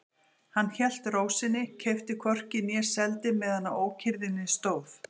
Hann hélt ró sinni, keypti hvorki né seldi meðan á ókyrrðinni stóð.